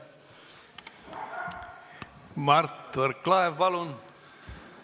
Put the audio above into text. Mart Võrklaev, palun!